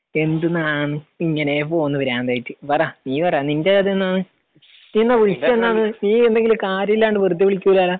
എന്തുന്നാന്ന്? ഇങ്ങനേ പോകുന്നു ഭ്രാന്തായിട്ട്. പറ. നീ പറ. നിന്റെ കഥ എന്തുന്നാണ്? നീ എന്താ വിളിച്ചതെന്താണ്? നീ എന്തെങ്കിലും കാര്യമില്ലാണ്ട് വെറുതെ വിളിക്കൂല്ലാലോ.